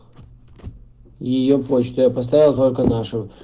её почту я поставил только нашу